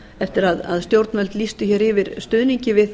eftir að stjórnvöld lýstu yfir stuðningi við